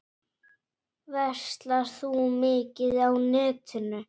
Verslar þú mikið á netinu?